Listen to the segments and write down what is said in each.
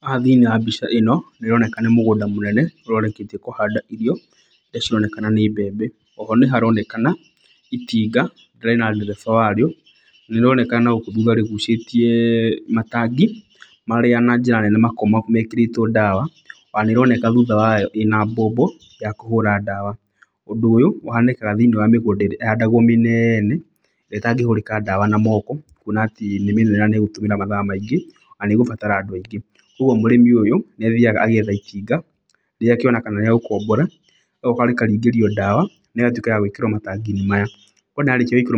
Haha thĩiniĩ wa mbica ĩna nĩ ũroneka nĩ mũgũnda munene ũrĩa ũrĩkĩtie kũhanda irio irĩa cironekana nĩ mbembe. Oho nĩ haronekana itinga rĩrĩa rĩna ndereba warĩo, rĩroneka nagũkũ thutha rĩgucĩtie matangi marĩ na njĩra nene makoragwo mekĩrĩtwo ndawa. Ona nĩ ĩroneka thutha wayo ĩna mbombo ya kũhũra ndawa. Ũndũ ũyũ ũhanĩkaga thĩiniĩ wa mĩgũnda ĩrĩa ĩhandagwo mĩnene, ĩrĩa ĩtangĩhũrĩka ndawa na moko kuona atĩ nĩ mĩnene na nĩ ĩkũhũthĩra mathaa maingĩ, na nĩ ĩgũbatara andũ aingĩ. Koguo mũrĩmi ũyũ nĩ athiaga agetha itinga rĩake ona kana rĩa gũkombora, rĩgoka rĩkaringĩrio ndawa na ĩgatuĩka ya gwĩkĩrwo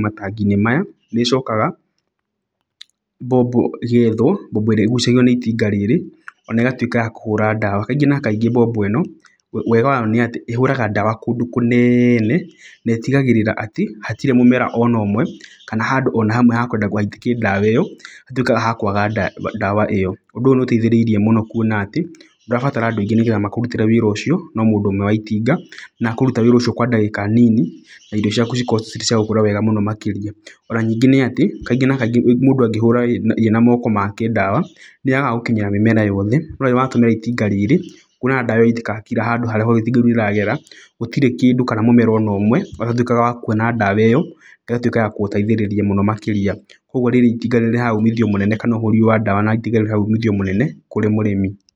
matangi-inĩ maya. Nĩ ĩcokaga mbombo ĩgethwo, mbombo ĩrĩa ĩgucagio nĩ itinga rĩrĩ ona ĩgatuĩka ya kũhũra ndawa. Kaingĩ na kaingĩ mbombo ĩno, wega wayo nĩ atĩ ĩhũraga ndawa kũndũ kũnene na ĩtigagĩrĩra atĩ hatirĩ mũmera ona ũmwe kana handũ ona hamwe hekwendagwo haitĩke ndawa ĩyo, hatuĩkaga hakwaga ndawa ĩyo. Ũndũ ũyũ nĩ ũteithĩrĩirie mũno kuona atĩ ndũrabatara andũ aingĩ nĩgetha makũrutĩre wĩra ũcio, no mũndũ ũmwe wa itinga. Na ekũruta wĩra ũcio kwa ihinda inini na irio ciaku cikorwo ci cia gũkũra wega mũno makĩrĩa. Ona nyingĩ nĩ atĩ kaingĩ na kaingĩ mũndũ angĩhũra irio na moko make ndawa, nĩ yagaga gũkinyĩre mĩmera yothe. No rĩrĩa watũmĩra itinga wonaga ndawa yaitĩka kila handũ harĩa itinga rĩrĩ rĩragera. Gũtirĩ kĩndũ kana mũmera o wothe ũtatuĩkaga wa kuona ndawa ĩyo, ĩgatuĩka ya gũgũteithĩrĩria mũno makĩria. Koguo rĩrĩ itinga nĩ rĩrehaga umithio mũnene kana ũhũri ũyũ wa ndawa na itinga nĩ ũrehaga umithio mũnene kũrĩ mũrĩmi.